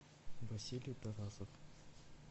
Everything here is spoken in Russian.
василий тарасов